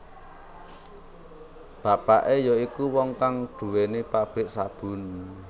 Bapake ya iku wong kang duwéni pabrik sabun